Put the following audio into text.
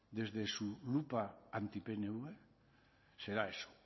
desde su lupa anti pnv será eso